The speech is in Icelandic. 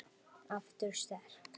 Aftur sterk.